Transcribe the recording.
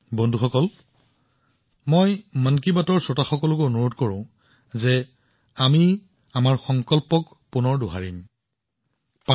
বন্ধুসকল মই মন কী বাতৰ শ্ৰোতাসকলক আমাৰ সংকল্পসমূহ পুনৰ দোহাৰিবলৈও অনুৰোধ কৰিম